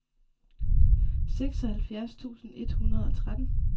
seksoghalvfjerds tusind et hundrede og tretten